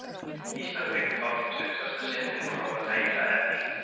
Ísland tekur þátt í tuttugasta sinn en Króatía í það ell